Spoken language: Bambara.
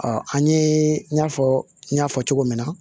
an ɲe i n'a fɔ n y'a fɔ cogo min na